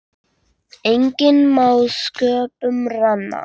Enginn má sköpum renna.